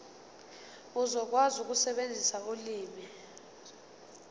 uzokwazi ukusebenzisa ulimi